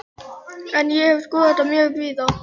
En ég hef skoðað þetta mjög víða.